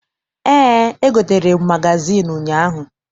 Eé, egotere m magazịịnụ ụnyaahụ